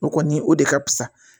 O kɔni o de ka fusa